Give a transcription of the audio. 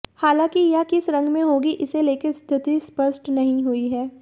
हालांकि यह किस रंग में होगी इसे लेकर स्थिति स्पष्ट नहीं हुई है